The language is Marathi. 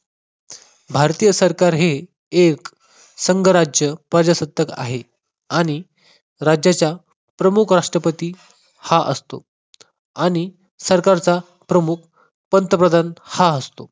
भारतीय सरकार हे एक संघराज्य प्रजासत्ताक आहे. आणि राज्याच्या प्रमुख राष्ट्रपती हा असतो. आणि सरकारच्या प्रमुख पंतप्रधान हा असतो.